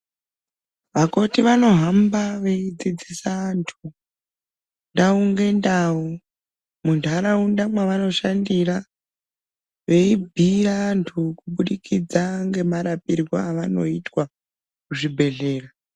Vakoti vanohamba veidzidzisa vantu ndau ngendau mundaraunda mwavanoshandira veibhiira vantu kubudikidza ngemarapirwo avanotwa kuzvibhedhlera.